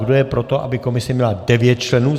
Kdo je pro to, aby komise měla 9 členů?